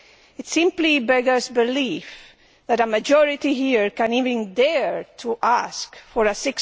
It simply beggars belief that a majority here can even dare to ask for a